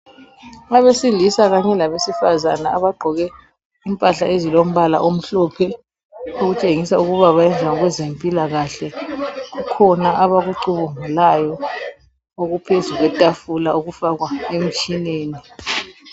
Abesilisa kanye labesifazana abagqoke impahla ezilombala omhlophe okutshengisa ukuba bayenza ngokwezempilakahle kukhona abakucubungulayo okuphezu kwetafula okufakwa emtshineni.